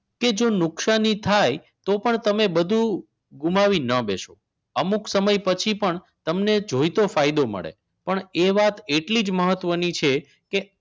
કે જો નુકસાની થાય તો પણ તમે બધું ગુમાવી ન બેસો અમુક સમય પછી પણ તમને જોઈતો ફાયદો મળે પણ એ વાત એટલી જ મહત્વની છે કે